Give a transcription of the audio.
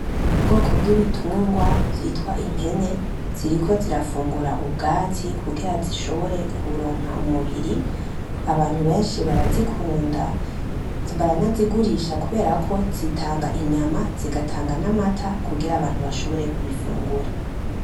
Ubwoko bw’ibitungwa bwitwa impene, ziriko zirafungura ubwatsi kugira zishobore kuronka umubiri. Abantu benshi barazikunda, baranazigurisha kubera ko zitanga inyama zigatanga n’amata kugira abantu bashobore kubifungura.